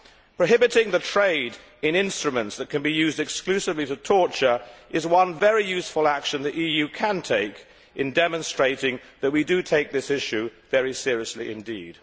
Prohibiting the trade in instruments that can be used exclusively for torture is one very useful action that the EU can take in demonstrating that we do take this issue very seriously indeed.